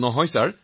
নহয় মহোদয়